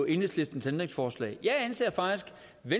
enhedslistens ændringsforslag jeg anser faktisk